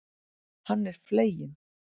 Hann er fleginn.